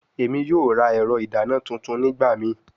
Emi yoo ra ẹrọ idana tuntun nigbamii